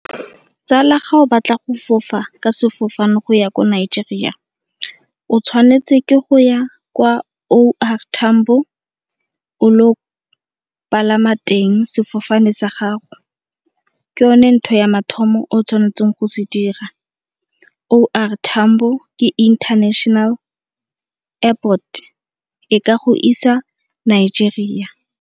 Tsala ga o batla go fofa ka sefofane go ya ko Nigeria o tshwanetse ke go ya kwa O R Tambo o lo palama teng sefofane sa gago. Ke yone ntho ya mathomo o tshwanetseng go se dira, O R Tambo ke International Airport e ka go isa Nigeria.